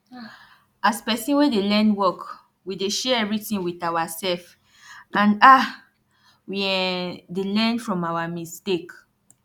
as pesin wey dey learn work we dey share everitin wit awasef and um we um dey learn from awa mistake